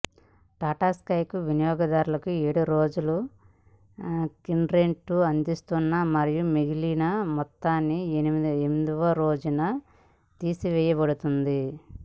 Tata sky వినియోగదారులకు ఏడు రోజుల క్రెడిట్ను అందిస్తుంది మరియు మిగిలిన మొత్తాన్ని ఎనిమిదవ రోజున తీసివేయబడుతుంది